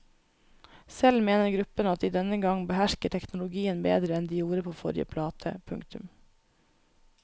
Selv mener gruppen at de denne gang behersker teknologien bedre enn de gjorde på forrige plate. punktum